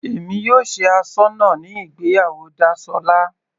Èmi yóò ṣe asọ́nà ní ìgbéyàwó Dasola.